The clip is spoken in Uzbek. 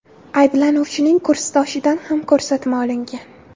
Ayblanuvchining kursdoshidan ham ko‘rsatma olingan.